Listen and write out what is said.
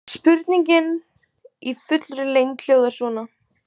Spurningin í fullri lengd hljóðaði svona: